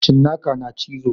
Cinnaka suna cizo.